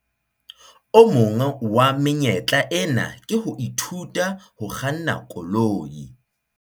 O mong wa menyetla ena ke ho ithuta ho kganna koloi.